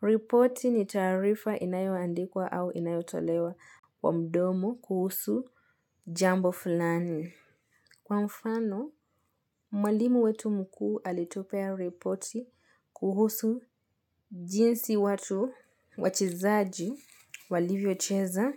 Reporti ni taarifa inayoandikwa au inayotolewa wa mdomo kuhusu jambo fulani. Kwa mfano, mwalimu wetu mkuu alitupea reporti kuhusu jinsi watu wachezaji walivyo cheza